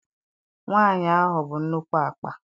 Nwaanyị ahụ bu nnukwu akpa.